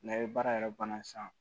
N'a ye baara yɛrɛ banna san